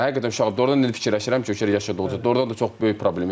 Həqiqətən uşaq, doğrudan da elə fikirləşirəm ki, o yaşadıqca doğrudan da çox böyük problemi idi.